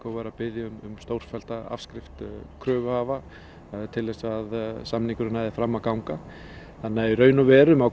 væri að biðja um stórfellda afskrift kröfuhafa til þess að samningurinn næði fram að ganga þannig að í raun og veru má